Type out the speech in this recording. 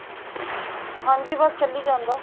ਹਾਂਜੀ ਬੱਸ ਚੱਲੀ ਜਾਂਦਾ